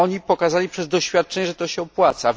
Pokazały one przez doświadczenie, że to się opłaca.